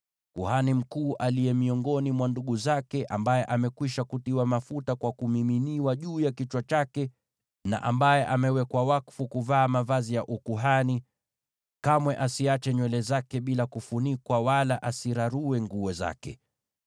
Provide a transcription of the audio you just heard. “ ‘Kuhani mkuu, yule miongoni mwa ndugu zake ambaye amekwisha kutiwa mafuta kwa kumiminiwa juu ya kichwa chake, na ambaye amewekwa wakfu kuvaa mavazi ya ukuhani, kamwe asiache nywele zake bila kufunikwa, wala asirarue nguo zake.